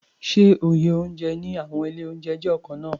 Ṣé iye oúnjẹ ní àwọn ilé-oúnjẹ jẹ́ ọ̀kan náà?